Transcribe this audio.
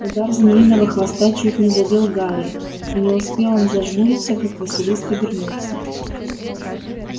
удар змеиного хвоста чуть не задел гарри и не успел он зажмуриться как василиск обернулся